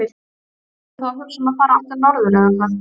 Ertu þá að hugsa um að fara aftur norður eða hvað?